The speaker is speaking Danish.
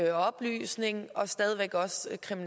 løsningen